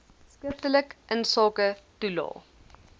skriftelik insake toelae